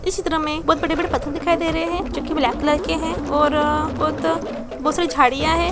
इस चित्र मे बहुत बड़े-बड़े पत्थर दिखाई दे रहे है जो कि ब्लैक कलर के है और बहुत बहुत सारी झाड़ियां है।